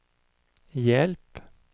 hjälp